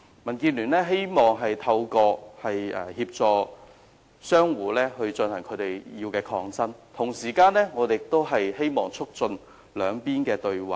民建聯希望協助商戶進行他們的抗爭，同時亦希望可以促進雙方對話。